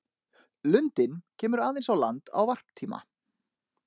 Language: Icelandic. Lundinn kemur aðeins á land á varptíma.